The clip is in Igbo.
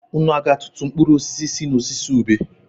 Ị ga-atụtụ mkpụrụ osisi si n'osisi ube?